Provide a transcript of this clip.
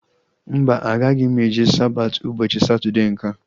Mba, agaghị eje Sabati ụbọchị Satọdee nkea